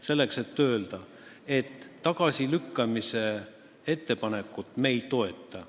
Selleks, et öelda: tagasilükkamise ettepanekut me ei toeta.